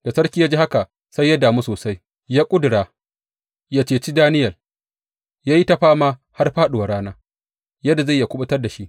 Da sarki ya ji haka, sai ya damu sosai, ya ƙudura yă ceci Daniyel, ya yi ta fama har fāɗuwar rana yadda zai yi yă kuɓutar da shi.